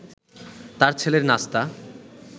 তাঁর ছেলের নাস্তা